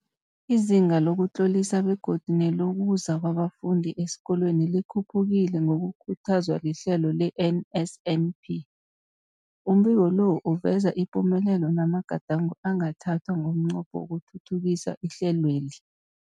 Izinga lokuzitlolisa begodu nelokuza kwabafundi esikolweni likhuphukile ngokukhuthazwa lihlelo le-NSNP. Umbiko lo uveza ipumelelo namagadango angathathwa ngomnqopho wokuthuthukisa ihlelweli.